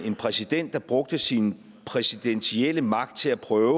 en præsident der brugte sin præsidentielle magt til at prøve